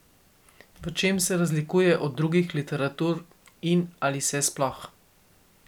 V čem se razlikuje od drugih literatur in ali se sploh?